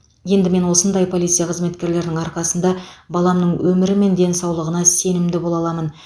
енді мен осындай полиция қызметкерлерінің арқасында баламның өмірі мен денсаулығы сенімді бола аламын